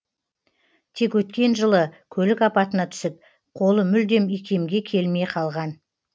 тек өткен жылы көлік апатына түсіп қолы мүлдем икемге келмей қалған